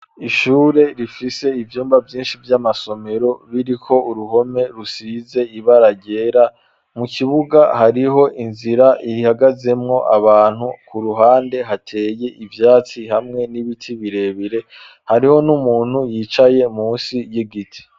Ishure rifise ivyumba vyishi vy'amasomero biriko uruhome rusize ibara ryera mu kibuga hariho inzira ihagazemwo abantu ku ruhande hateye ivyatsi hamwe n'ibiti birebere hariho n'umuntu yicaye munsi y'igiti.